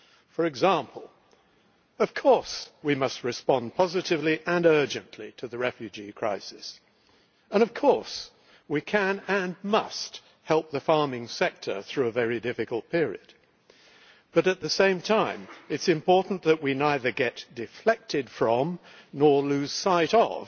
For example of course we must respond positively and urgently to the refugee crisis and of course we can and must help the farming sector through a very difficult period, but at the same time it is important that we neither get deflected from nor lose sight of